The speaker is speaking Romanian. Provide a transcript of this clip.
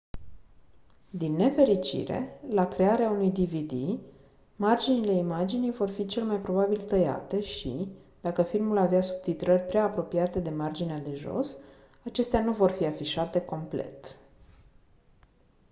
din nefericire la crearea unui dvd marginile imaginii vor fi cel mai probabil tăiate și dacă filmul avea subtitrări prea apropiate de marginea de jos acestea nu vor fi afișate complet